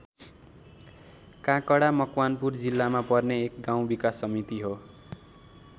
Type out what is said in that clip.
काकडा मकवानपुर जिल्लामा पर्ने एक गाउँ विकास समिति हो।